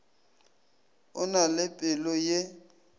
o na le pelo ye